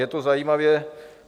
Je to zajímavě...